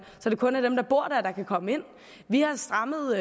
kun er dem der bor der der kan komme ind vi har strammet